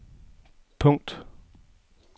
punkt